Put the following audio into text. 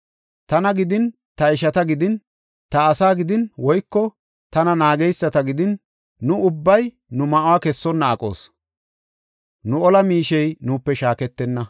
Tana gidin, ta ishata gidin, ta asaa gidin, woyko tana naageysata gidin, nu ubbay nu ma7uwa kessonna aqoos; nu ola miishey nuupe shaaketenna.